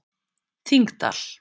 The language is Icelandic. Þingdal